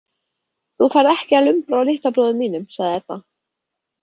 Þú færð ekki að lumbra á litla bróður mínum, sagði Edda.